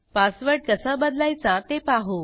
password कसा बदलायचा ते पाहू